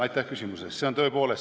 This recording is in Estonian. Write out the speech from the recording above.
Aitäh küsimuse eest!